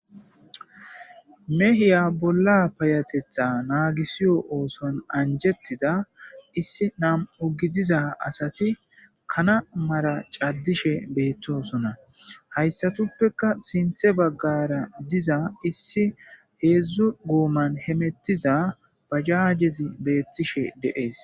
mehiya bolla payatetha naagisiyo ooson anjettida issi nam7u gidiza asati kana mara caddishe beettosona hayssatuppeka sinthe baggara diza issi heedzdzu gooman hemettiza bajaajezi beettishe deees